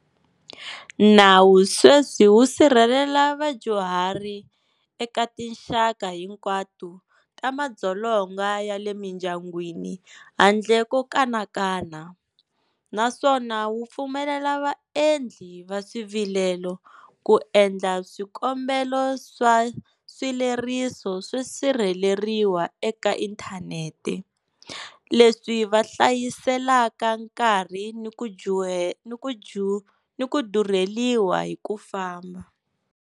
Nawu sweswi wu sirhelela vadyuhari eka tinxaka hinkwato ta madzolonga ya le mindyangwini handle ko kanakana, naswona wu pfumelela vaendli va swivilelo ku endla swikombelo swa swileriso swo sirheleriwa eka inthanete, leswi va hlayiselaka nkarhi ni ku durheriwa hi ku famba.